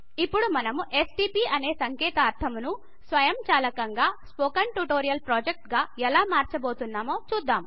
ఇప్పుడు మనం ఎస్టీపీ అనే సంకేతాక్షరము స్వయంచాలకంగా స్పోకెన్ ట్యూటోరియల్ Projectగా ఎలా మర్చబడుతుందో చూద్దాం